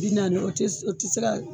Bi naani o te, o ti se ka